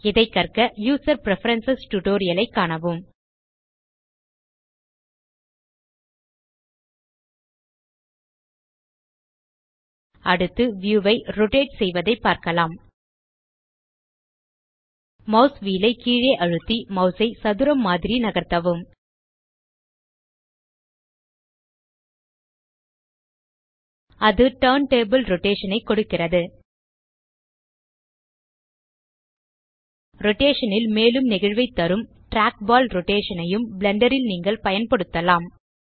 இதை கற்கUser preference tutorial ஐ காணவும் அடுத்து வியூ ஐ ரோட்டேட் செய்வதை பார்க்கலாம் மாஸ் வீல் ஐ கீழே அழுத்தி மாஸ் ஐ சதுரம் மாதிரி நகர்த்தவும் அது டர்ன்டபிள் ரோடேஷன் ஐ கொடுக்கிறது ரோடேஷன் ல் மேலும் நெகிழ்வைத் தரும் டிராக்பால் ரோடேஷன் ஐயும் பிளெண்டர் ல் நீங்கள் பயன்படுத்தலாம்